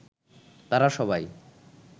তারা সবাই